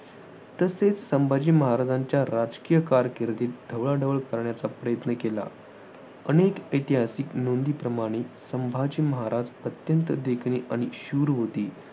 तसेच संभाजी महाराजांच्या राजकीय कारकिर्दीत ढवळाढवळ करण्याचा प्रयत्न केला. अनेक ऐतिहासिक नोंदींप्रमाणे संभाजी महाराज अत्यंत देखणे आणि शूर होते.